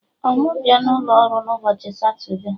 Ọ mụ bịa n'ụlo ọrụ n'ụbọchị Satode?